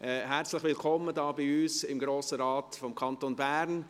Herzlich willkommen, hier bei uns im Grossen Rat des Kantons Bern!